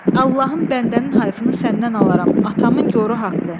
Allahın bəndənin hayfını səndən alaram atamın yoru haqqı.